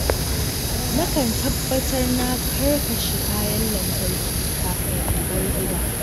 Nakan tabbatar na karkashi kayan lantarki kafin in bar gida.